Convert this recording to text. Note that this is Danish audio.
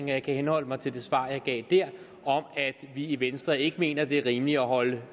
jeg kan henholde mig til det svar jeg gav der om at vi i venstre ikke mener det er rimeligt at holde